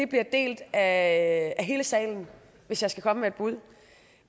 bliver delt af hele salen hvis jeg skal komme med et bud